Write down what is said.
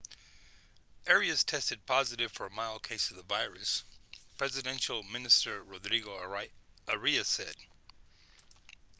arias tested positive for a mild case of the virus presidential minister rodrigo arias said